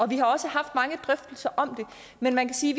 vi har også haft mange drøftelser om det men man kan sige